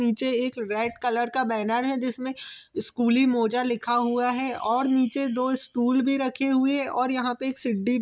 नीचे एक red colour का बैनर है जिसमे स्कूली मोजा लिखा हुआ और नीचे दो स्टूल भी रखे हुए है और यहाँ पे एक सीडी भी---